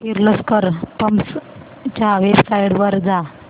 Kirloskar pumps च्या website वर जा